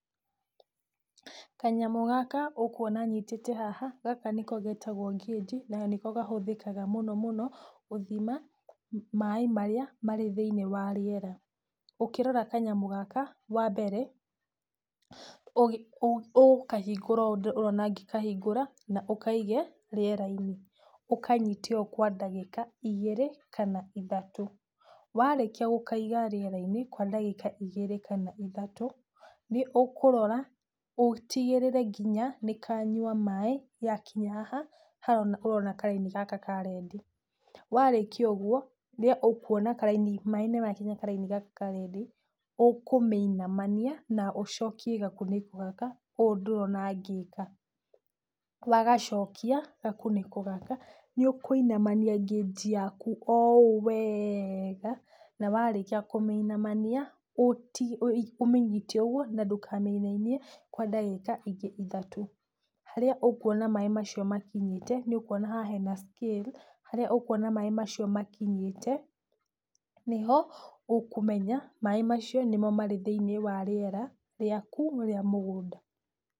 Kanyamũ gaka ũkuona nyitite haha gaka nĩko getagwo gauge na nĩko kahũthĩkaga mũno mũno gũthima maĩ marĩa marĩ thĩiniĩ wa rĩera, ũkĩrora kanyamũ gaka wambere, ũgũkahingũra ũũ ũrona ngĩkahingũra, na ũkaige rĩera-inĩ, ũkanyĩte ũũ kwa ndagĩka ĩgĩrĩ kana ithatũ, warĩkia gũkaiga rĩera-inĩ ka ndagĩka igĩrĩ kana ithatũ, nĩ ũkũrora ũtigĩrĩre nginya nĩ Kanyua maĩ gakinya haha, haha ũrona karaini gaka ka red, warĩkia ũguo, nĩ ũkuona maĩ nĩmakinya karaini gaka ka red, ũkũmĩinamania na ũcokie gakunĩko gaka, ũũ ũrona ngĩka, wagacokia gakunĩko gaka, nĩũkũinamania gauge yaku, o ũũ wega na warĩkia kũmĩinamania ũmĩnyite ũguo na ndũkamĩinainie kwa ndagĩka ingĩ ithatũ. Harĩa ũkuona maĩ macio makinyite nĩũkuona hau harĩ na scale harĩa ũkuona maĩ macio makinyĩte, nĩ ho kũmenya maĩ macio nĩmo marĩ thĩiniĩ wa rĩera rĩaku rĩa mũgũnda.